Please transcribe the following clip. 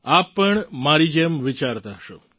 આપ પણ મારી જેમ જ વિચારતા હશો